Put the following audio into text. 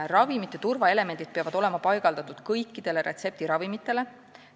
Ravimite turvaelemendid peavad olema paigaldatud kõikidele retseptiravimite pakenditele.